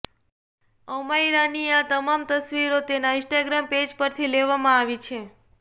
અમાયરાની આ તમામ તસવીરો તેનાં ઇન્સ્ટાગ્રામ પેજ પરથી લેવામાં આવી છે